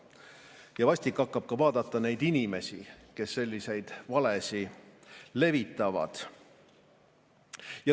Ja vastik hakkab vaadata ka neid inimesi, kes selliseid valesid levitavad.